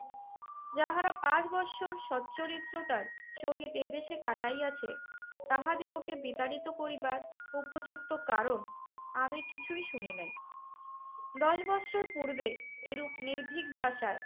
যাহারা পাঁচ বৎসর সচ্চরিত্রতার সহিত এদেশে কাটাইয়াছে তাহাদিগকে বিতাড়িত করিবার উপযুক্ত কারণ আমি কিছুই শুনি নাই। দশ বৎসর পূর্বে এরূপ নির্ভীক ভাষায়